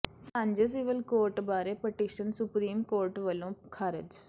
ਸਾਂਝੇ civil code ਬਾਰੇ petition supreme court ਵੱਲੋਂ ਖਾਰਜ